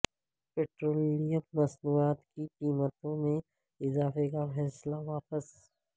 petroleum مصنوعات کی قیمتوں میں اضافے کا فیصلہ واپس